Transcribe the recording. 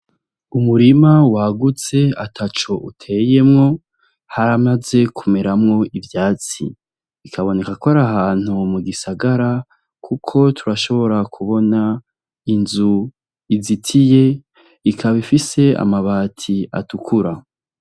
Umurima wagutse ataco uteyemwo haramaze kumeramwo ivyatsi, bikaboneka kwar'ahantu mugisagara kuko turashobora kubona inzu izitiye ikab'ifise amabati atukura.